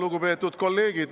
Lugupeetud kolleegid!